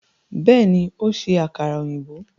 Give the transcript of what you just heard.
Bẹẹni, o n ṣe àkàrà òyìnbó